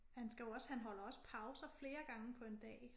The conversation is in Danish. Han skal jo også han holder også pauser flere gange på en dag